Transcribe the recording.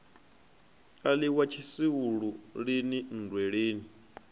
a ḽiwa tshisulu lini nndweleni